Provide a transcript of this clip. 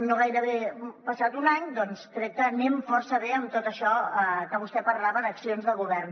no gairebé hem passat un any doncs crec que anem força bé amb tot això que vostè parlava d’accions de govern